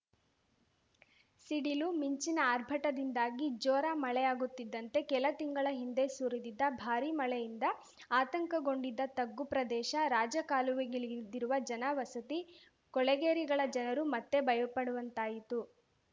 ಸಿಡಿಲು ಮಿಂಚಿನ ಆರ್ಭಟದಿಂದಾಗಿ ಜೋರಾ ಮಳೆಯಾಗುತ್ತಿದ್ದಂತೆ ಕೆಲ ತಿಂಗಳ ಹಿಂದೆ ಸುರಿದಿದ್ದ ಭಾರೀ ಮಳೆಯಿಂದ ಆತಂಕಗೊಂಡಿದ್ದ ತಗ್ಗು ಪ್ರದೇಶ ರಾಜ ಕಾಲುವೆಗಳಿದಿರುವ ಜನ ವಸತಿ ಕೊಳಗೇರಿಗಳ ಜನರು ಮತ್ತೆ ಭಯಪಡುವಂತಾಯಿತು